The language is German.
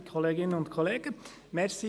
Der Motionär hat nochmals das Wort.